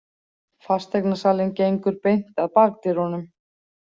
Fasteignasalinn gengur beint að bakdyrunum.